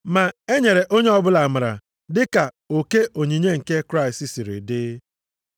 Ma e nyere onye ọbụla amara dịka oke onyinye nke Kraịst siri dị.